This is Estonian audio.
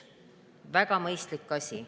Väga mõistlik asi.